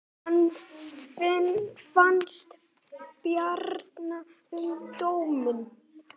Hvað fannst Bjarna um dóminn?